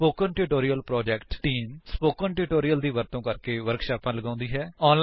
spoken tutorial project team spoken tutorial ਦਾ ਵਰਤੋ ਕਰਕੇ ਵਰਕਸ਼ਾਪਾਂ ਲਗਾਉਂਦੀ ਹੈ